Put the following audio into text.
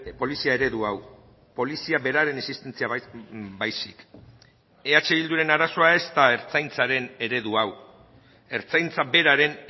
polizia eredu hau polizia beraren existentzia baizik eh bilduren arazoa ez da ertzaintzaren eredu hau ertzaintza beraren